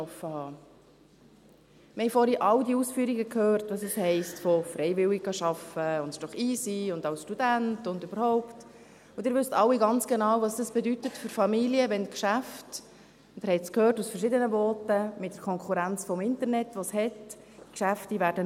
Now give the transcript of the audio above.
Wir haben vorhin all die Ausführungen gehört, was es bedeutet: «Freiwillig arbeiten gehen, das ist doch easy, als Student, und überhaupt …» Sie wissen alle ganz genau, was es für Familien bedeutet, wenn die Geschäfte – Sie haben es in verschiedenen Voten gehört – aufgrund der bestehenden Konkurrenz durch das Internet aufmachen werden.